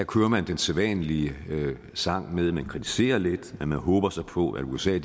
kører man den sædvanlige sang med at man kritiserer lidt men man håber så på at usa